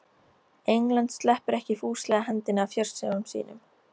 England sleppir ekki fúslega hendinni af fjársjóðum sínum.